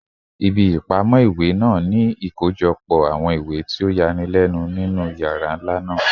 Ibi ipamọ iwe naa ni ikojọpọ awọn iwe ti o yanilenu ninu yara nla naa